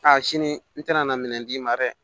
A sini n tɛna na minɛn d'i ma dɛ